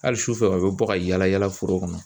Hali sufɛ u bɛ bɔ ka yaala yaala foro kɔnɔ